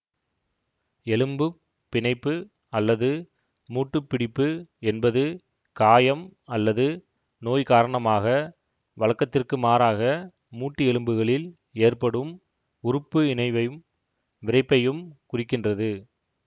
எலும்புப் பிணைப்பு அல்லது மூட்டுப் பிடிப்பு என்பது காயம் அல்லது நோய் காரணமாக வழக்கத்திற்குமாறாக மூட்டு எலும்புகளில் ஏற்படும் உறுப்பு இணைவையும் விறைப்பையும் குறிக்கின்றது